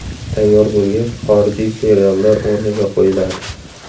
Tayyor bo‘lgach, xorijiy seriallar o‘rniga qo‘yiladi.